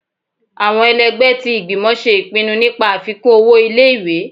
Awọn èlẹgbẹ ti ìgbímò ṣe ipínnú nipá afikun ọwọ ìlé-ìwé